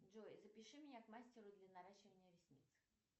джой запиши меня к мастеру для наращивания ресниц